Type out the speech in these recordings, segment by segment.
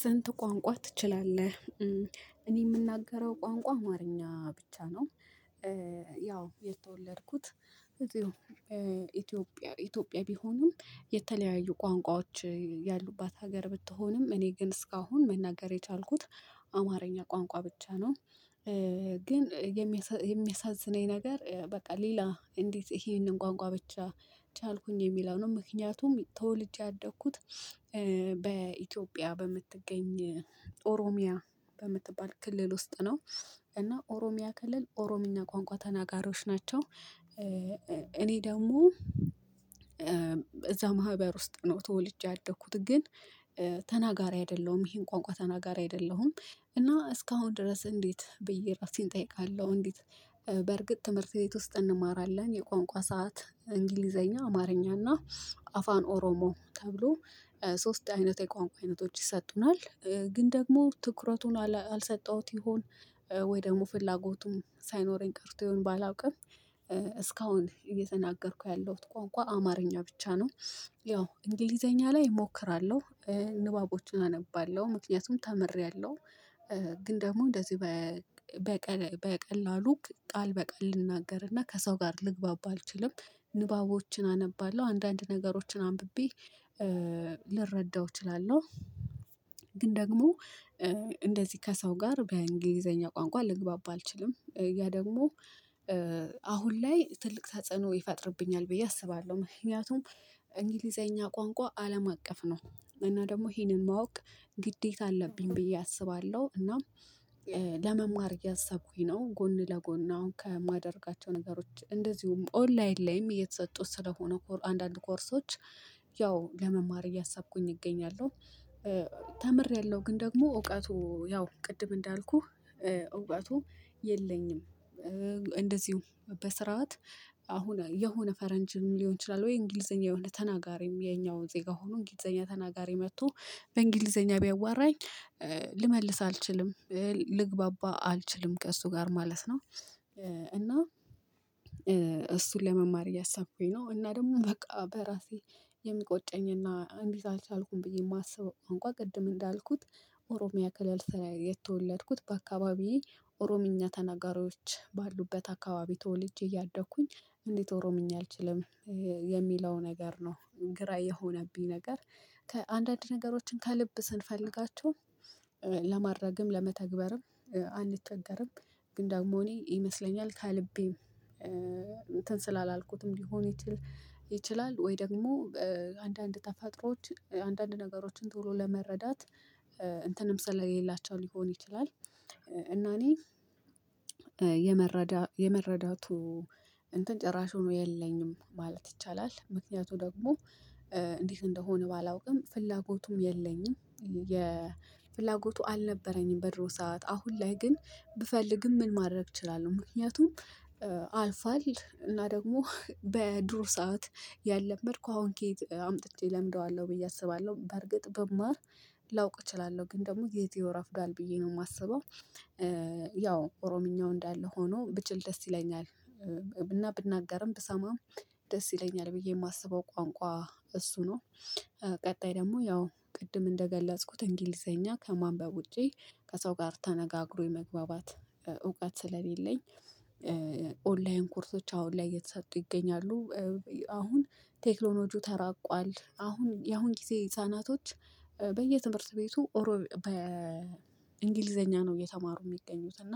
ስንት ቋንቋ ትችላለህ? እኔ የምናገረው ቋንቋ አማርኛ ብቻ ነው። ያው የተወለድኩት ኢትዮጵያ ኢትዮጵያ ቢሆኑም የተለያየ ቋንቋዎች ያሉባት ሀገር ብትሆንም እኔ ግን እስካሁን መናገር የቻልኩት አማርኛ ቋንቋ ብቻ ነው። ግን የሚያሳዝነኝ ነገር በቃ ሌላ እንዴት ይሄንን ቋንቋ ብቻ ቻልኩኝ የሚለውንም ምክንያቱም ተወልጄ አደግኩት። በኢትዮጵያ በምትገኝ ኦሮሚያ በምትባል ክልል ውስጥ ነው። እና ኦሮሚያ ክልል ኦሮሚኛ ቋንቋ ተናጋሪዎች ናቸው። እኔ ደግሞ። እዛ ማህበር ውስጥ ነው ተወልጄ ያደኩት ግን ተናጋሪ አይደለሁም ይሄን ቋንቋ ተናጋሪ አይደለሁም። እና እስካሁን ድረስ እንዴት ብዬ ራሴን እጠይቃለሁ። እንዴት? በርግጥ ትምህርት ቤት ውስጥ እንማራለን የቋንቋ ሰዓት እንግሊዘኛ አማርኛ እና አፋን ኦሮሞ ተብሎ ሶስት አይነት የቋንቋ አይነቶች ይሰጡናል ግን ደግሞ ትኩረቱን አልሰጠሁት ይሆን ወይ ደግሞ ፍላጎቱም ሳይኖረኝ ቀርቶ ይሆን ባላውቅም። እስካሁን እየተናገርኩ ያለሁት ቋንቋ አማርኛ ብቻ ነው። ያው እንግሊዘኛ ላይ እሞክራለሁ። ንባቦችን አነባለሁ ምክንያቱም ተምሬያለሁ። ግን ደግሞ እንደዚህ በቀላሉ ቃል በቃል ልናገርና ከሰው ጋር ልግባባ አልችልም። ንባቦችን አነባለሁ አንዳንድ ነገሮችን አንብቤ ልረዳው እችላለሁ። ግን ደግሞ እንደዚህ ከሰው ጋር በእንግሊዘኛ ቋንቋ ልግባባ አልችልም። ያ ደግሞ ላይ ትልቅ ተጽዕኖ ይፈጥርብኛል ብዬ አስባለሁ። ምክንያቱም እንግሊዘኛ ቋንቋ አለም አቀፍ ነው። እና ደግሞ ይህንን ማወቅ ግዴታ አለብኝ ብዬ አስባለሁ። እና ለመማር ያሰብኩኝ ነው ጎን ለጎን አሁን ከማደርጋቸው ነገሮች እንደዚሁም ኦንላይን ላይም እየተሰጡት ስለሆነ አንዳንድ ኮርሶች ያው ለመማር እያሰብኩኝ እገኛለሁ። ተምሬያለሁ ግን ደግሞ እውቀቱ ያው ቅድም እንዳልኩህ እውቀቱ የለኝም። እንደዚሁ በስራዎት አሁን የሆነ ፈረንጅም ሊሆን ይችላል ወይ እንግሊዘኛ የሆነ ተናጋሪም የኛው ዜጋ ሆኖ እንግሊዘኛ ተናጋሪ መጥቶ በእንግሊዘኛ ቢያዋራኝ ልመልስ አልችልም። ልግባባ አልችልም ከእሱ ጋር ማለት ነው። እና እሱን ለመማር እያሳኩኝ ነው። እና ደግሞ በቃ በራሴ የሚቆጨኝና እንዴት አልቻልኩም ብዬ የማስበው እንኳን ቅድም እንዳልኩት ኦሮሚያ ክልል ስራ የተወለድኩት በአካባቢዬ ኦሮሚኛ ተናጋሪዎች ባሉበት አካባቢ ተወልጄ እያደኩኝ እንዴት ኦሮምኛ አልችልም። የሚለው ነገር ነው ግራ የሆነብኝ ነገር። ከአንዳንድ ነገሮችን ከልብ ስንፈልጋቸው ለማድረግም ለመተግበርም ግን ደግሞ እኔ ይመስለኛል ከልቤም እንትን ስላላልኩትም ሊሆን ይችል ይችላል። ወይ ደግሞ አንዳንድ ተፈጥሮዎች አንዳንድ ነገሮችን ቶሎ ለመረዳት እንትንም ስለሌላቸው ሊሆን ይችላል። እና እኔ የመረዳቱ እንትን ጭራሹን የለኝም ማለት ይቻላል። ምክንያቱ ደግሞ እንዲህ እንደሆነ ባላውቅም ፍላጎቱም የለኝም። የፍላጎቱ አልነበረኝም በድሮ ሰዓት አሁን ላይ ግን ብፈልግም ምን ማድረግ እችላለሁ? ምክንያቱም አልፏል እና ደግሞ በድሮው ሰዓት ያለመድኩ አሁን ከየት አምጥቼ እለምደዋለሁ ብዬ አስባለሁ በርግጥ ብማር ላውቅ እችላለሁ ግን ደግሞ ጊዜው እረፍዷል ብዬ ነው የማስበው። ያው ኦሮምኛው እንዳለ ሆኖ ብችል ደስ ይለኛል። ብናገርም ብሰማም ደስ ይለኛል ብዬ የማስበው ቋንቋ እሱ ነው። ቀጣይ ደግሞ ያው ቅድም እንደገለጽኩት እንግሊዘኛ ከማንበብ ውጪ ከሰው ጋር ተነጋግሮ የመግባባት እውቀት ስለሌለኝ። ኦንላይን ኮርሶች አሁን ላይ እየተሰጡ ይገኛሉ። አሁን ቴክኖሎጂው ተራቋል አሁን ያሁን ጊዜ ህፃናቶች በየትምህርት ቤቱ ኦሮ በእንግሊዘኛ ነው እየተማሩ የሚገኙት እና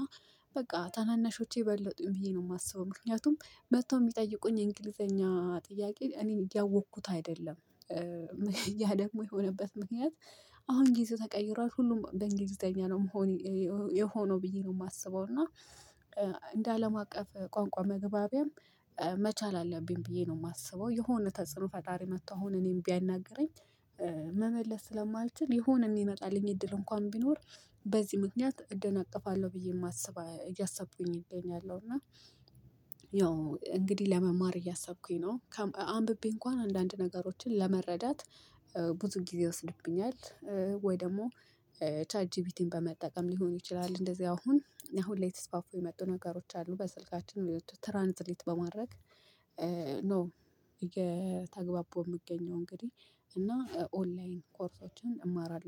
በቃ ታናናሾቼ በለጡኝ ብዬ ነው የማስበው። ምክንያቱም መጥተው የሚጠይቁኝ የእንግሊዘኛ ጥያቄ እኔም እያወቅኩት አይደለም። ያ ደግሞ የሆነበት ምክንያት አሁን እንግሊዝ ተቀይሯል ሁሉም በእንግሊዝኛ ነው መሆን የሆነው ብዬ ነው የማስበው። እና እንደ አለም አቀፍ ቋንቋ መግባቢያም መቻል አለብኝ ብዬ ነው የማስበው። የሆነ ተጽዕኖ ፈጣሪ መጥቶ አሁን እኔም ቢያናግረኝ መመለስ ስለማልችል የሆነ የሚመጣልኝ እድል እንኳን ቢኖር። በዚህ ምክንያት እደናቀፋለሁ ብዬ የማስብ እያሰቡኝ እገኛለሁ እና እንግዲህ ለመማር እያሰብኩኝ ነው። አንብቤ እንኳን አንዳንድ ነገሮችን ለመረዳት ብዙ ጊዜ ይወስድብኛል። ወይ ደግሞ ቻት ጂፒቲን በመጠቀም ሊሆን ይችላል እንደዚህ አሁን ላይ ተስፋፉ የመጡ ነገሮች አሉ በስልካችን የመጡ ትራንስሌት በማድረግ ነው። እየተግባባሁ የምገኘው እንግዲህ እና ኦንላይን ኮርሶችን እማራለሁ